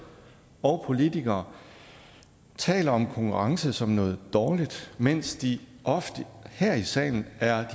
og politikere taler om konkurrence som noget dårligt mens de ofte her i salen er